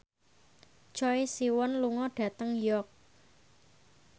Choi Siwon lunga dhateng York